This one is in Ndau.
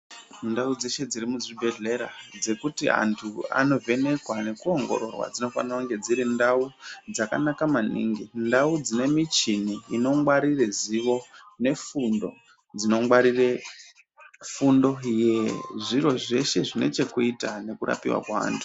Ndau dzeshe dziri muzvibhehlera dzekuti antu anovhekwa nekuongorwa dzinofanira kunge dziri ndau dzakanaka maningi. Ndau dzine michini inongwarire zivo nefundo dzinongwarire fundo yezviro zveshe zvinechekuita nekurapiwa kwevantu.